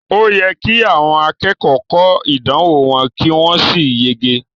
O yẹ ki àwọn akẹ́kọ̀ọ́ kọ ìdánwò wọn ki wọn sì yege.